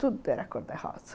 Tudo era cor-de-rosa.